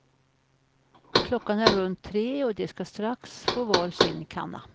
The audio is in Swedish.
Klockan är runt tre och de ska strax få var sin kanna.